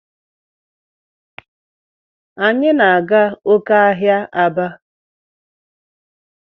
Anyi na aga oke ahia Aba.